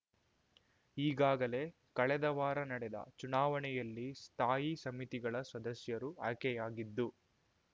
ಈಗಾಗಲೇ ಕಳೆದ ವಾರ ನಡೆದ ಚುನಾವಣೆಯಲ್ಲಿ ಸ್ಥಾಯಿ ಸಮಿತಿಗಳ ಸದಸ್ಯರು ಆಯ್ಕೆಯಾಗಿದ್ದು